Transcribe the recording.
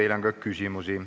Teile on ka küsimusi.